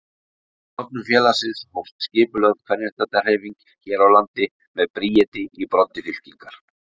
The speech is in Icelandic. Með stofnun félagsins hófst skipulögð kvenréttindahreyfing hér á landi með Bríeti í broddi fylkingar.